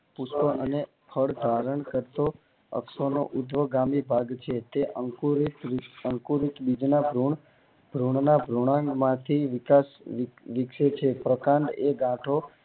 વિશાળો અને ખડ ધારણ કરતો અશ્વો નો ઊધ્વગામી ભાગ છે તે અંકુરિત બીજ ના ગુણ ભ્રુણ ના ભૃંઆંગ માંથી વિકાસ વિકસે છે પ્રકાંડ એ ગાંઠો